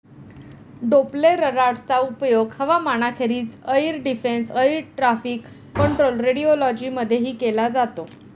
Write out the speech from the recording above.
डोप्प्लेररडारचा उपयोग हवामानाखेरीज air defence, air traffic control, radiology मधेही केला जातो.